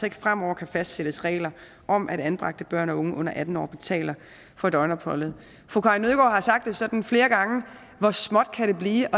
ikke fremover kan fastsættes regler om at anbragte børn og unge under atten år betaler for døgnopholdet fru karin nødgaard har sagt det sådan flere gange hvor småt kan det blive